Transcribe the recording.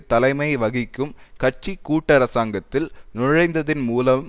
தலைமை வகிக்கும் கட்சி கூட்டரசாங்கத்தில் நுழைந்ததன் மூலம்